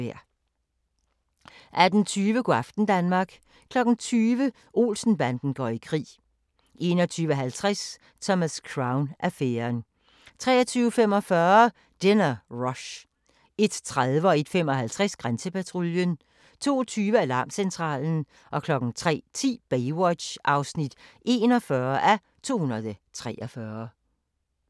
18:20: Go' aften Danmark 20:00: Olsen-banden går i krig 21:50: Thomas Crown affæren 23:45: Dinner Rush 01:30: Grænsepatruljen 01:55: Grænsepatruljen 02:20: Alarmcentralen 03:10: Baywatch (41:243)